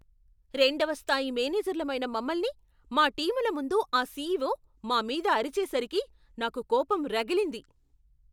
రెండవ స్థాయి మేనేజర్లమైన మమల్ని, మా టీముల ముందు ఆ సీఈఓ మా మీద అరిచేసరికి , నాకు కోపం రగిలింది.